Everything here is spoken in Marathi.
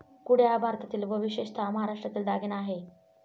कुड्या हा भारतातील व विशेषतः महाराष्ट्रातील दागिना आहे.